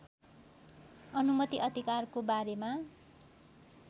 अनुमति अधिकारको बारेमा